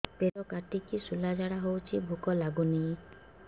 ପେଟ କାଟିକି ଶୂଳା ଝାଡ଼ା ହଉଚି ଭୁକ ଲାଗୁନି